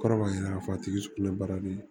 Kɔrɔ b'a yira k'a fɔ a tigi kulo baara bɛ